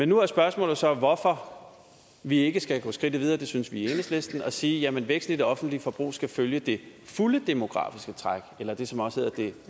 nu er spørgsmålet så hvorfor vi ikke skal gå skridtet videre det synes vi i enhedslisten og sige at væksten i det offentlige forbrug skal følge det fulde demografiske træk eller det som også hedder det